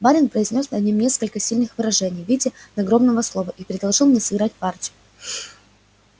барин произнёс над ним несколько сильных выражений в виде надгробного слова и предложил мне сыграть партию